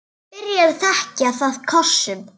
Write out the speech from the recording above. Byrjar að þekja það kossum.